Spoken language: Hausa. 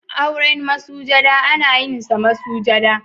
Auren masujada ana yin sa masujada.